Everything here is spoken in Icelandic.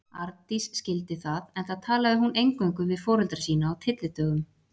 Arndís skildi það, enda talaði hún eingöngu við foreldra sína á tyllidögum.